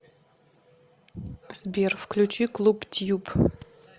сбер включи клуб тьюб